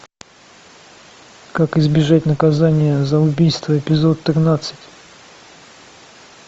как избежать наказания за убийство эпизод тринадцать